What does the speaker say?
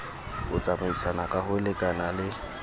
ho tsamaisana ka ho lekanale